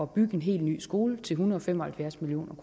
bygge en helt ny skole til en hundrede og fem og halvfjerds million